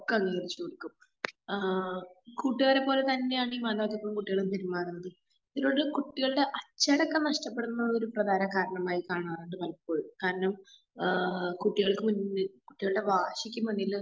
ക്കെ അവര് ആശ്രയിക്കും. ആഹ് കൂട്ടുകാരെ പോലെ തന്നെ ആ മാതാപിതാക്കള് കുട്ടികളോട് പെരുമാറുന്നത്. ഇതിലൂടെ കുട്ടികളുടെ അച്ചടക്കം നഷ്ടപ്പെടുന്നതൊരു പ്രധാന കാരണമായി കാണാറുണ്ട് പലപ്പോഴും. കാരണം ആഹ് കുട്ടികൾക്ക് ഇതിന്ന് കുട്ടികളുടെ വാശിക്കുമുന്നില്.